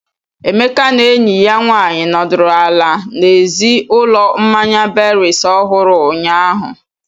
Emeka na enyi ya nwanyị nọdụrụ ala n'èzí ụlọ mmanya berries ohuru, ụnyahụ.